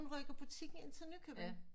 Hun rykker butikken ind til Nykøbing